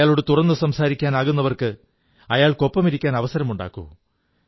അയാളോട് തുറന്നു സംസാരിക്കുവാനാകുന്നവർക്ക് അയാൾക്കൊപ്പമിരിക്കാൻ അവസരമുണ്ടാക്കൂ